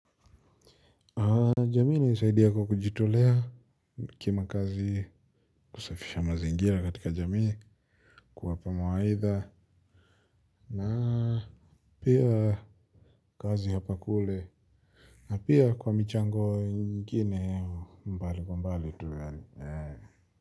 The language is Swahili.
Jamii ilinisaidia kwa kujitolea kimakazi kusafisha mazingira katika jamii. Kwa hapa mawaidha na pia kazi hapa kule. Na pia kwa michango ingine mbali mbali tu yaani.